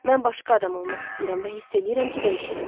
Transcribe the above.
Mən başqa adam olmaq istəyirəm və hiss eləyirəm ki, dəyişirəm.